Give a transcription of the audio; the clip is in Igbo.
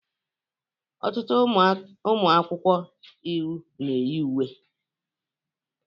Ọtụtụ ụmụ akwụkwọ iwu na-eyi uwe